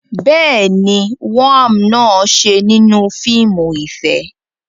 Bẹ́ẹ̀ ni, woam náà ṣe nínú fíìmù ìfẹ́.